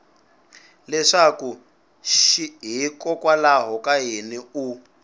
leswaku hikokwalaho ka yini u